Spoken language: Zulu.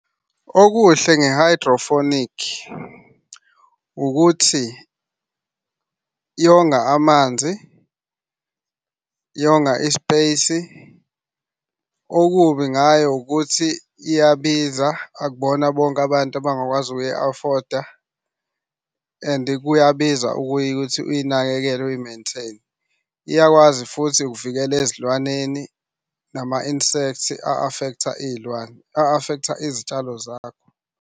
Okuhle nge-hydroponic ukuthi yonga amanzi, yonga i-space. Okubi ngayo ukuthi iyabiza akubona bonke abantu abangakwazi ukuyi-afoda and kuyabiza ukuyi kuthi uyinakekele uyi-maintain. Iyakwazi futhi ukuvikela ezilwaneni nama-insect a-affect-a iy'lwane, a-affect-a izitshalo zakho.